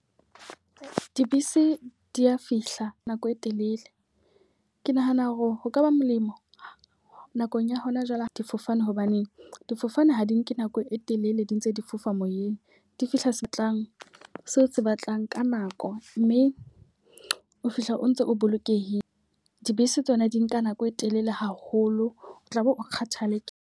Dibese di ya fihla nako e telele. Ke nahana hore ho ka ba molemo nakong ya hona jwale ha difofane. Hobaneng difofane ha di nke nako e telele di ntse di fofa moyeng. Di fihla se batlang seo o se batlang ka nako mme o fihla o ntso o bolokehile. Dibese tsona di nka nako e telele haholo, o tlabe o kgathaletsehe .